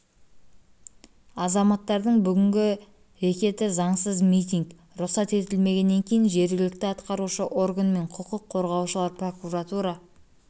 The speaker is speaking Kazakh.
азаматтардың бүгінгі рекеті заңсыз митинг рұқсат етілмегеннен кейін жергілікті атқарушы орган мен құқық қорғаушылар прокуратура